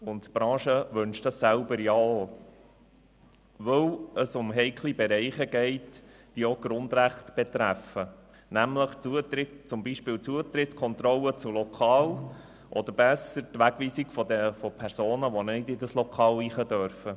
Die Branche selber wünscht dies auch, weil es um heikle Bereiche geht, die auch Grundrechte betreffen, wie etwa die Zutrittskontrolle zu Lokalen oder genauer gesagt die Wegweisung von Personen, die ein Lokal nicht betreten dürfen.